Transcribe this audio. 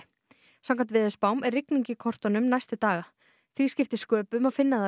samkvæmt veðurspám er rigning í kortunum næstu daga því skipti sköpum að finna þá í